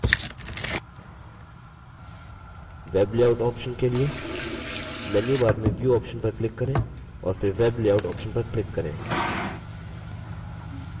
web layout option के लिए menu bar में view option पर click करें और फिर web layout option पर click करें